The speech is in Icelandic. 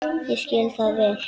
Ég skil það vel.